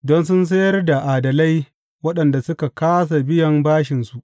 Don sun sayar da adalai waɗanda suka kāsa biyan bashinsu.